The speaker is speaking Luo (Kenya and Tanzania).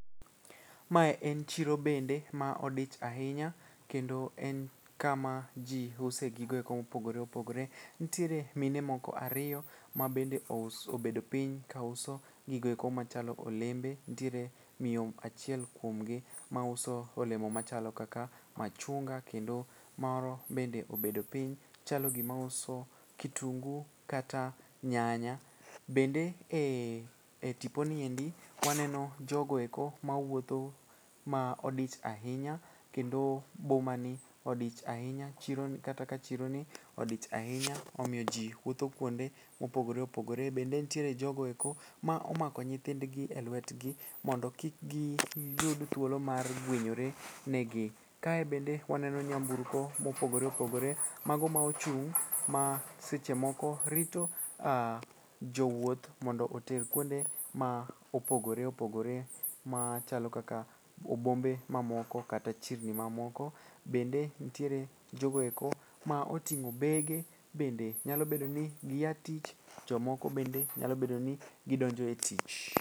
Mae en chiro bende ma odich ahinya kendo en kama ji usoe gigoeko mopogore opogore. Ntiere mine moko ariyo mabende obedo piny kauso gigoeko machalo olembe, ntiere miyo achiel kuomgi mauso olemo machalo kaka machunga kendo moro bende obedo piny chalo gimauso kitungu kata nyanya. Bende e tiponi endi waneno jogoeko mawuotho ma odich ahinya kendo bomani odich ahinya kata ka chironi odich ahinya omiyo ji wuotho kuonde mopogore opogore. Bende nitie jogo eko ma omako nyithindgi e lwetgi mondo kik giyud thuolo mar gwenyore ne gi. Kae bende waneno nyamburko mopogore opogore mago ma ochung' ma seche moko rito jowuoth mondo oter kuonde ma opogore opogore machalo kaka bombe mamoko kata chirni mamoko, bende ntiere jogo eko ma oting'o bege bende nyalo bedo ni gia tich jomoko bende nyalo bedo ni gidonjo e tich.